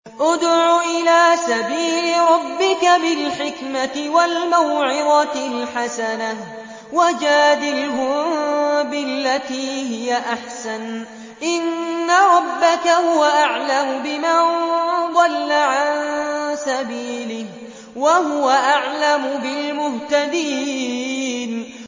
ادْعُ إِلَىٰ سَبِيلِ رَبِّكَ بِالْحِكْمَةِ وَالْمَوْعِظَةِ الْحَسَنَةِ ۖ وَجَادِلْهُم بِالَّتِي هِيَ أَحْسَنُ ۚ إِنَّ رَبَّكَ هُوَ أَعْلَمُ بِمَن ضَلَّ عَن سَبِيلِهِ ۖ وَهُوَ أَعْلَمُ بِالْمُهْتَدِينَ